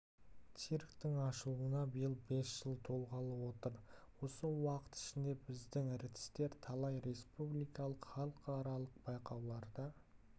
цирктің ашылғанына биыл бес жыл толғалы отыр осы уақыт ішінде біздің ртістер талай республикалық халықаралық байқауларда